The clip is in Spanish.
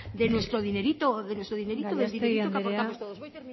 de nuestro dinerito gallastegui andrea amaitu voy